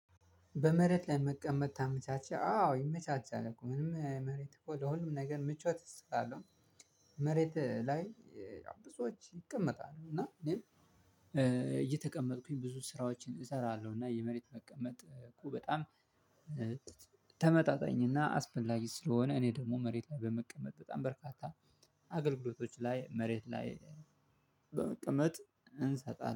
በመሬት ለመቀመጥ ታመቻቻ አዎ ይመቻቻል እኮ ምንም መሬት እኮ ለሁሉም ነገር ምቾት ይሰጣለሁ። መሬት ላይ ብዙዎች ይቀመጣሉ እና እኔም እየተቀመጥኩኝ ብዙ ስራዎችን እሰራለሁ። እና የመሬት መቀመጥ እኮ በጣም ተመጣጣኝ እና አስፈላጊ ስለሆነ እኔ ደግሞ መሬት ላይ በመቀመጥ በጣም በርካታ አገልግሎቶች ላይ መሬት ላይ በመቀመጥ እንሰጣለን